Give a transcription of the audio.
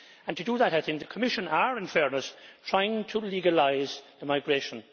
To do that, I think the Commission is, in fairness, trying to legalise the migration.